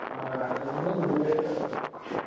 অ ৰাস্তাৰ পিনেই ঘূৰি আছো আৰু